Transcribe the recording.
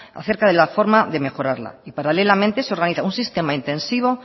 acerca de la forma de mejorarla y paralelamente se organiza un sistema intensivo